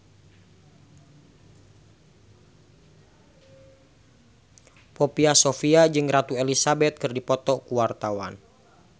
Poppy Sovia jeung Ratu Elizabeth keur dipoto ku wartawan